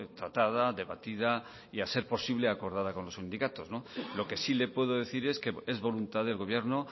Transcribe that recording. tratada debatida y a ser posible acordada con los sindicatos lo que sí le puedo decir es que es voluntad del gobierno